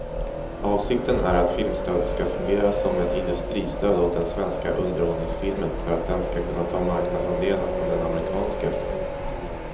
Avsikten är att filmstödet ska fungera som ett industristöd åt den svenska underhållningsfilmen för att den ska kunna ta marknadsandelar från den amerikanska.